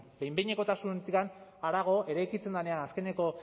behin behinekotasunetik harago eraikitzen denean azkeneko